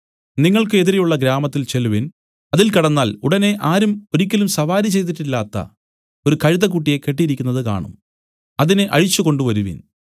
നിങ്ങൾക്ക് എതിരെയുള്ള ഗ്രാമത്തിൽ ചെല്ലുവിൻ അതിൽ കടന്നാൽ ഉടനെ ആരും ഒരിക്കലും സവാരി ചെയ്തിട്ടില്ലാത്ത ഒരു കഴുതക്കുട്ടിയെ കെട്ടിയിരിക്കുന്നത് കാണും അതിനെ അഴിച്ച് കൊണ്ടുവരുവിൻ